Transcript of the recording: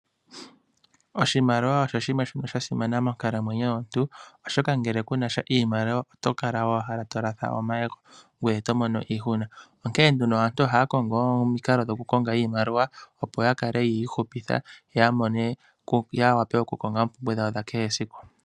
Oshimaliwa osho shimwe sha simana monkalamwenyo yomuntu oshoka ngele kunasha iimaliwa oto kala owala to latha omayego ngwee to mono iihuna, onkee nduno aantu ohaya kongo omikalo dhoku konga iimaliwa opo ya kale yi ihupitha yo ya wape ya konge oompumbwe dhawo dha kehe esiku.